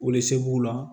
la